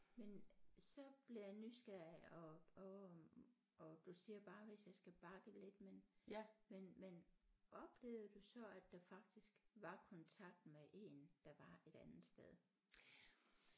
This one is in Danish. Men så bliver jeg nysgerrig og og og du siger bare hvis jeg skal bakke lidt men men men oplevede du så at der faktisk var kontakt med én der var et andet sted